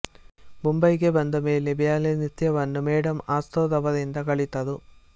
ಮುಂಬಯಿಗೆ ಬಂದಮೇಲೆ ಬ್ಯಾಲೆ ನೃತ್ಯ ವನ್ನು ಮೆಡಾಮ್ ಆಸ್ತ್ರೋ ರವರಿಂದ ಕಲಿತರು